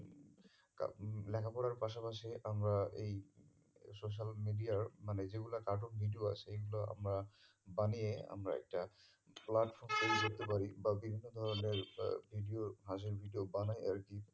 লেখা পড়ার পাশা পাশি আমরা এই social media র মানে যেগুলোর cartoon video আসে সেগুলো আমরা বানিয়ে আমরা একটা platform তৈরী করতে পারি বা বিভিন্ন ধরণের video র হাঁসির video বানাই আর কি